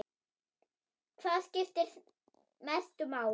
Hvað skiptir mestu máli?